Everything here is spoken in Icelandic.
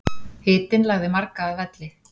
Hitinn lagði marga að velli